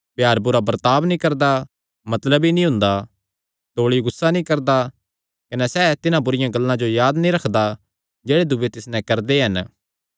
प्यार बुरा बर्ताब नीं करदा मतलबी नीं हुंदा तौल़ी गुस्सा नीं करदा कने सैह़ तिन्हां बुरिआं गल्लां जो याद नीं रखदा जेह्ड़े दूये तिस नैं करदे हन